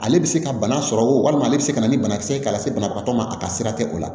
Ale bɛ se ka bana sɔrɔ walima ale bɛ se ka na ni banakisɛ k'a la se banabagatɔ ma a ka sira tɛ o la